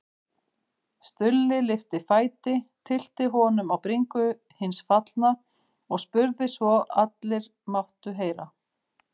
Stulli lyfti fæti, tyllti honum á bringu hins fallna og spurði svo allir máttu heyra